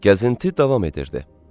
Gəzinti davam edirdi.